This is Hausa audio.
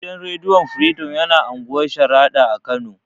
Gidan rediyo firidom yana unguwar sharaɗa a kano